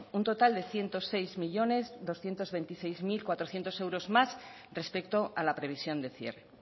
un total de ciento seis millónes doscientos veintiséis mil cuatrocientos euros más respecto a la previsión de cierre